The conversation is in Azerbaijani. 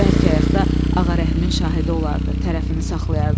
Bəlkə ayaqda Ağarəhimin şahidi olardı, tərəfini saxlayardı onun.